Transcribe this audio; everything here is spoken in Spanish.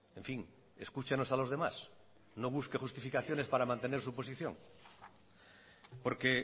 en fin escúchenos a los demás no busque justificaciones para mantener su posición porque